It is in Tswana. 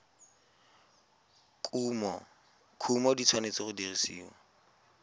kumo di tshwanetse go dirisiwa